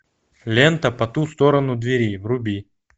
лента по ту сторону двери вруби